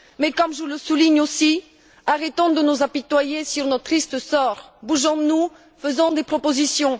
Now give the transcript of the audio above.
Mais comme je le souligne aussi, arrêtons de nous apitoyer sur notre triste sort, bougeons nous, faisons des propositions!